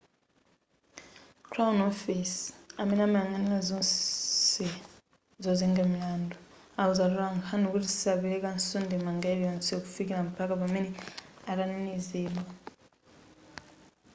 crown office amene amayang'anira zonse zozenga milandu awuza atolankhani kuti sapelekanso ndemanga iliyonse kufikira mpakana pamene atanenezedwa